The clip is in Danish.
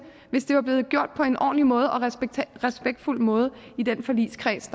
hvis det var blevet gjort på en ordentlig måde og en respektfuld måde i den forligskreds